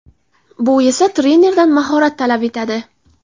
Bu esa trenerdan mahorat talab etadi.